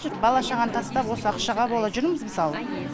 бала шағаны тастап осы ақшаға бола жүрміз мысалы